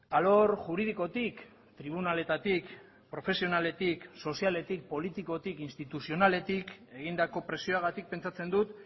alor juridikotik tribunaletatik profesionaletik sozialetik politikotik instituzionaletik egindako presioagatik pentsatzen dut